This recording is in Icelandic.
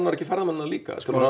ekki ferðamennina líka svona